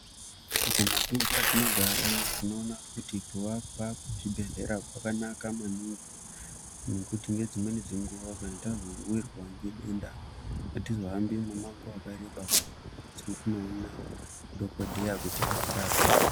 Mumatundu atinogara tinoona kuti kuwakwa kwezvibhedhlera kwakanaka maningi nekuti nedzimweni dzenguwa kana tazowirwa ngedenda atizohambi mumango wakaraba kuti tinoona dhokodheya kuti atirape .